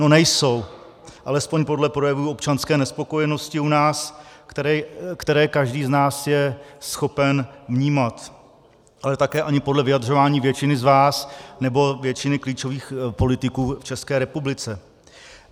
No nejsou, alespoň podle projevů občanské nespokojenosti u nás, které každý z nás je schopen vnímat, ale také ani podle vyjadřování většiny z vás nebo většiny klíčových politiků v České republice.